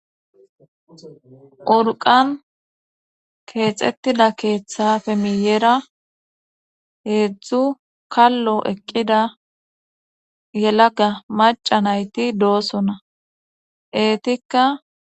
Urqan keexettida keeththafe miyera heedzdzu kallo eqqida yelaga maca nayti doosona eetikka.